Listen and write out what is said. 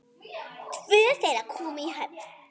Tvö þeirra komu í höfn.